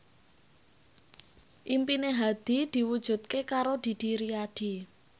impine Hadi diwujudke karo Didi Riyadi